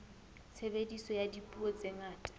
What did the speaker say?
tshebediso ya dipuo tse ngata